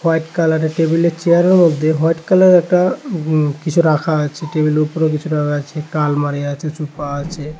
Black কালারের টেবিলে চেয়ারেও দিয়ে হোয়াইট কালারের একটা কিছু রাখা আছে টেবিলের উপরেও কিছু রাখা আছে একটা আলমারি আছে সুফা আছে।।